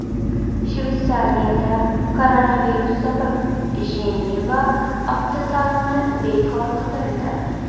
Shveysariyada koronavirus sabab Jeneva avtosaloni bekor qilindi .